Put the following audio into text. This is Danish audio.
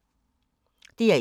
DR1